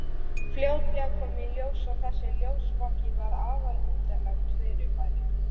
Fljótlega kom í ljós að þessi ljósvaki var afar undarlegt fyrirbæri.